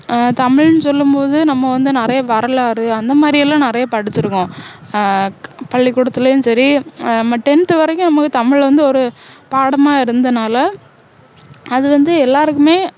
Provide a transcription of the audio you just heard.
ஆஹ் தமிழ்னு சொல்லும் போது நம்ம வந்து நிறைய வரலாறு அந்த மாதிரியெல்லாம் நிறைய படிச்சிருக்கோம் ஆஹ் பள்ளிக்கூடத்துலேயும் சரி ஆஹ் நம்ம tenth வரைக்கும் நமக்கு தமிழ் வந்து ஒரு பாடமா இருந்ததுனால அது வந்து எல்லாருக்குமே